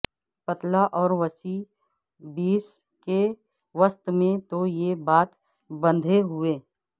پتلا اور وسیع بیس کے وسط میں تو یہ بات بندھے ہوئے